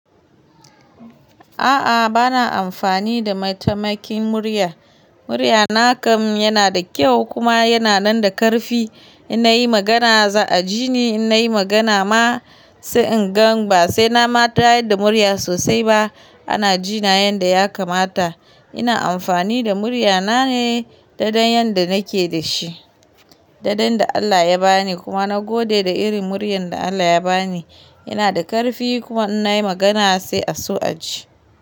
A'a, bana amfani da mataimakin murya. Murya na kam yana da kyau kuma yana nan da ƙarfi. In na yi magana za a ji ni, in na yi magana ma sai in gan ba sai na mata da murya sosai ba ana ji na yanda ya kamata. Ina amfani da murya na ne dadin yanda nake dashi, dadin da Allah ya ba ni kuma na gode da irin muryar da Allah ya ba ni. Yana da ƙarfi kuma in na yi magana sai a so a ji.